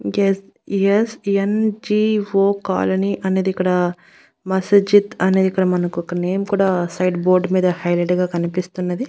Yes S N G O call అని అన్నది ఇక్కడ మసజిత్ అనేది మనకు ఇక్కడ ఒక నేమ్ కూడా సైడ్ బోర్డు మీద హైలైట్ గా కనిపిస్తున్నది.